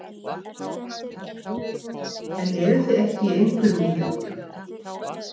Heimir: En eruð þið ekki í einhverjum íþróttum?